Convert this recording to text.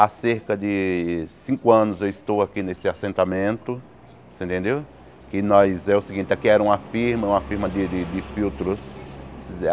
Há cerca de cinco anos eu estou aqui nesse assentamento, você entendeu que nós é o seguinte aqui era uma firma uma firma de de de filtros.